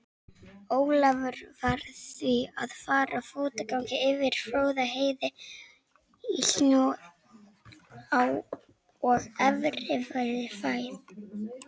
Ólafur varð því að fara fótgangandi yfir Fróðárheiði í snjó og erfiðri færð.